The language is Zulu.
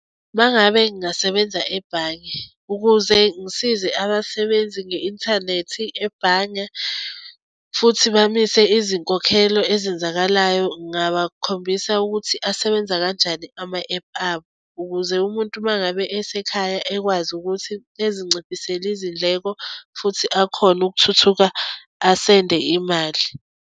Uma ngabe ngingasebenza ebhange ukuze ngisize abasebenzi nge-inthanethi ebhange futhi bamise izinkokhelo ezenzakalayo ngingabakhombisa ukuthi asebenza kanjani ama-ephu abo ukuze umuntu uma ngabe esekhaya ekwazi ukuthi ezinciphisele izindleko futhi akhone ukuthuthuka asende imali.